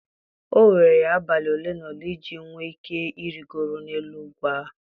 O were ya abalị ole na ole iji nwee ike Ịrịgoro n'elu ugwu ahụ.